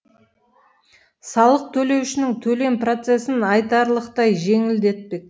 салық төлеушінің төлем процесін айтарлықтай жеңілдетпек